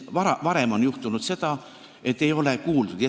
Varem on juhtunud, et ei ole kuuldud.